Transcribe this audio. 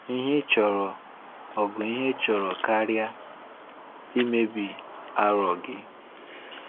Ihe ịchọrọ, ọ̀ bụ ihe ịchọrọ karịa imebi arọ gị?